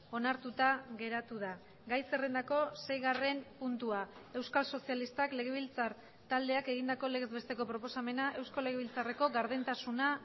onartuta geratu da gai zerrendako seigarren puntua euskal sozialistak legebiltzar taldeak egindako legez besteko proposamena eusko legebiltzarreko gardentasuna